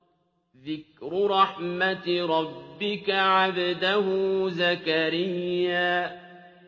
ذِكْرُ رَحْمَتِ رَبِّكَ عَبْدَهُ زَكَرِيَّا